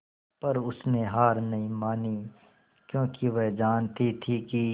पर उसने हार नहीं मानी क्योंकि वह जानती थी कि